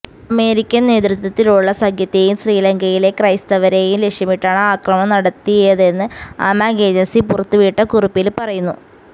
American നേതൃത്വത്തിലുള്ള സഖ്യത്തെയും ശ്രീലങ്കയിലെ ക്രൈസ്തവരെയും ലക്ഷ്യമിട്ടാണ് ആക്രമണം നടത്തിയതെന്ന് അമാഖ് ഏജന്സി പുറത്തുവിട്ട കുറിപ്പില് പറയുന്നു